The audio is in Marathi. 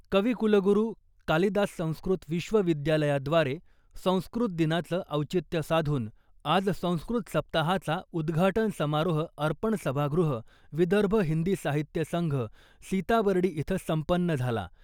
कविकुलगुरू कालिदास संस्कृत विश्वविद्यालयाद्वारे संस्कृत दिनाचं औचित्य साधून आज संस्कृत सप्ताहाचा उद्घाटन समारोह अर्पण सभागृह, विदर्भ हिंदी साहित्य संघ, सीताबर्डी इथं संपन्न झाला.